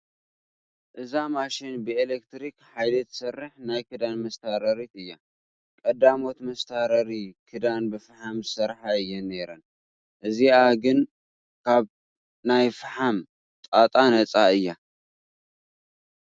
እዛ ማሽን ብኤለክትሪክ ሓይሊ ትሰርሕ ናይ ክዳን መስታረሪት እያ፡፡ ቀዳሞት መስታረሪ ክዳን ብፍሓም ዝሰርሓ እየን ነይረን፡፡ እዚኣ ግን ካብ ናይ ፈሓም ጣጣ ነፃ እያ፡፡